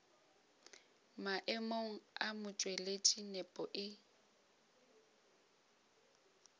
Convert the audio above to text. maemong a motšweletši nepo e